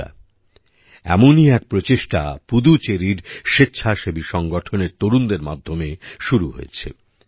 বন্ধুরা এমনই এক প্রচেষ্টা পুদুচেরির স্বেচ্ছাসেবী সংগঠনের তরুণদের মাধ্যমে শুরু হয়েছে